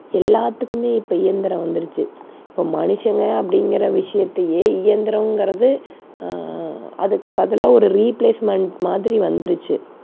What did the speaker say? எல்லாத்துக்குமே இப்ப இயந்திரம் வந்துடுச்சு. இப்ப மனுஷங்க அப்படிங்கிற விஷயத்தையே இயந்திரங்கிறது அஹ் அதுக்கு பதிலா ஒரு replacement மாதிரி வந்துருச்சு.